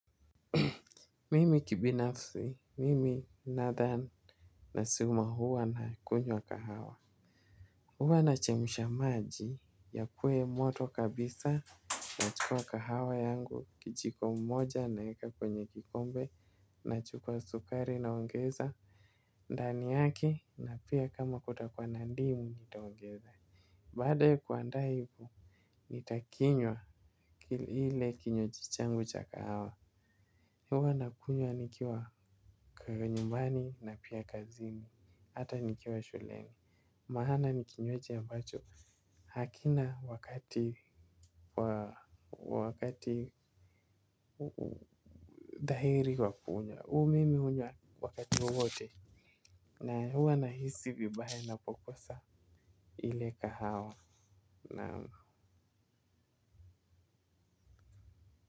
Mimi kibinafsi, mimi nadhani. Nasema huwa na kunywa kahawa. Huwa nachemsha maji yakue moto kabisa nachukua kahawa yangu kijiko moja naeka kwenye kikombe nachukua sukari naongeza. Ndani yake na pia kama kutakua na ndimu nitaongeza. Baada ya kuandaa hivo nitakinywa ile kinywaji changu cha kahawa. Huwa nakunywa nikiwa nyumbani na pia kazini, hata nikiwa shuleni. Maana nikinywaji ambacho hakina wakati wakati. Dhahiri wa kukunywa, huu mimi hunywa wakati wote. Na huwa nahisi vibaya napokosa ile kahawa naam.